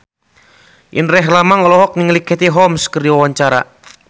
Indra Herlambang olohok ningali Katie Holmes keur diwawancara